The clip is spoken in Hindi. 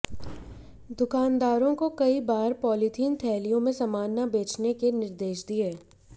दुकानदारों को कई बार पॉलिथीन थैलियों में सामान न बेचने के निर्देश दिए